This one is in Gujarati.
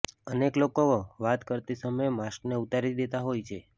અનેક લોકો વાત કરતી સમયે માસ્કને ઉતારી દેતા હોય છે